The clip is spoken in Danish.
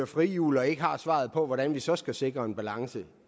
frihjul og ikke har svaret på hvordan vi så skal sikre en balance